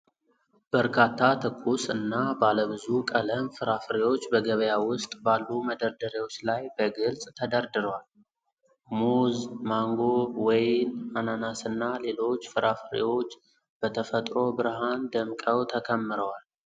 በርካታ ትኩስ እና ባለ ብዙ ቀለም ፍራፍሬዎች በገበያ ውስጥ ባሉ መደርደሪያዎች ላይ በግልጽ ተደርድረዋል። ሙዝ፣ ማንጎ፣ ወይን፣ አናናስና ሌሎች ፍራፍሬዎች በተፈጥሮ ብርሃን ደምቀው ተከምረዋል።